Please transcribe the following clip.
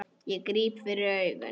Ég gríp fyrir augun.